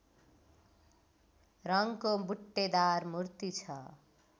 रङको बुट्टेदार मूर्ति छ